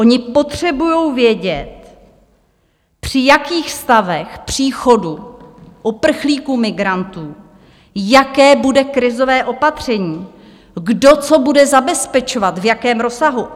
Oni potřebují vědět, při jakých stavech příchodu uprchlíků, migrantů, jaké bude krizové opatření, kdo co bude zabezpečovat, v jakém rozsahu.